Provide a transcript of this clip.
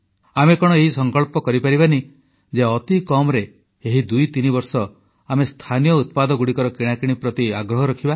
ଆମେ କଣ ଏହି ସଂକଳ୍ପ କରିପାରିବା ନାହିଁ ଯେ ଅତି କମରେ ଏହି ଦୁଇତିନି ବର୍ଷ ଆମେ ସ୍ଥାନୀୟ ଉତ୍ପାଦଗୁଡ଼ିକର କିଣାକିଣି ପ୍ରତି ଆଗ୍ରହ ରଖିବା